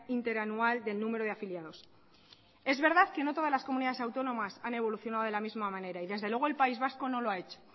interanual del número de afiliados es verdad que no todas las comunidades autónomas han evolucionado de la misma manera y desde luego el país vasco no lo ha hecho